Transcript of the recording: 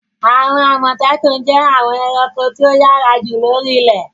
Àwọn Àmọ̀tẹ́kùn jẹ́ àwọn ẹranko tí ó yára jù lóri ilẹ̀.